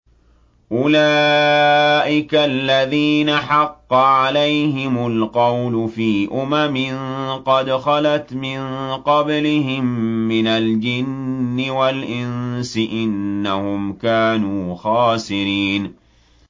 أُولَٰئِكَ الَّذِينَ حَقَّ عَلَيْهِمُ الْقَوْلُ فِي أُمَمٍ قَدْ خَلَتْ مِن قَبْلِهِم مِّنَ الْجِنِّ وَالْإِنسِ ۖ إِنَّهُمْ كَانُوا خَاسِرِينَ